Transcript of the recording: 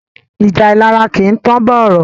Ìjà ìlara kìí tán bọ̀rọ̀.